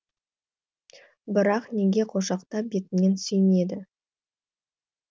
бірақ неге құшақтап бетінен сүймеді